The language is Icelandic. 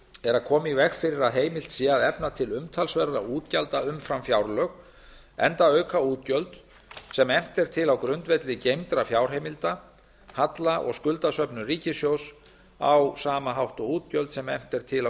er að koma í veg fyrir að heimilt sé að efna til umtalsverðra útgjalda umfram fjárlög enda auka útgjöld sem efnt er til á grundvelli geymdra fjárheimilda halla og skuldasöfnun ríkisins á sama hátt og útgjöld sem efnt er til á